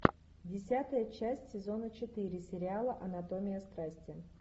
десятая часть сезона четыре сериала анатомия страсти